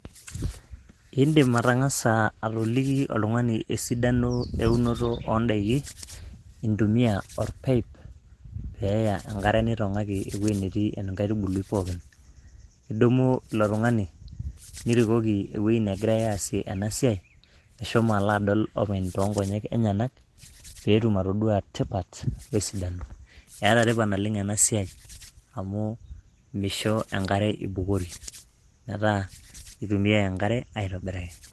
indim atang'asa atoliki oltung'ani esidano eunoto ondaiki intumia orpaip peeya enkare neitong'aki ewueji netii enkaitubului pookin idumu ilo tung'ani nirikoki ewueji negirae aasie ena siai meshomo alo adol openy toonkonyek enyenak peetum atodua tipat wesidano, eeta tipat naleng ena siai amu misho enkare ibukori metaa kitumiae enkare aitobiraki.